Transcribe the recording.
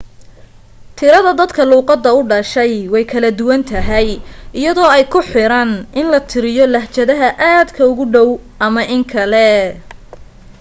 tirada dadka luuqadda u dhashay way kala duwan tahay iyadoo ay ku xiran in la tiriyo lahjadaha aadka ugu dhow ama in kale